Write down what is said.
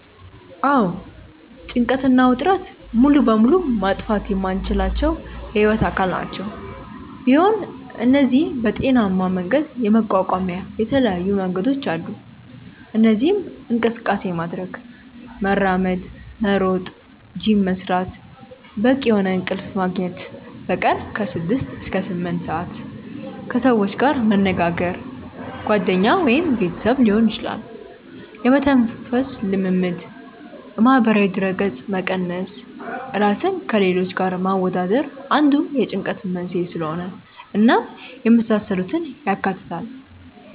አዎ ጭንቀት እና ውጥረት ሙሉ በሙሉ ማጥፋት የማንችላቸው የህይወት አካል ናቸው፤ ቢሆን እነዚህን በጤናሜ መንገድ የመቋቋሚያ የተለያዩ መንገዶች አሉ። እነዚህም እንቅስቃሴ ማድረግ( መራመድ፣ መሮጥ፣ ጂም መስራት)፣ በቂ የሆነ እንቅልፍ መግኘት( በቀን ከ6-8ሰአት)፣ ከሰዎች ጋር መነጋገር( ጓደኛ ወይም ቤተሰብ ሊሆን ይችላል)፣ የመተንፈስ ልምምድ፣ ማህበራዊ ድረገጽ መቀነስ( ራስን ከሌሎች ጋር ማወዳደር አንዱ የጭንቀት መንስኤ ስለሆነ) እናም የመሳሰሉትን ያካትታል።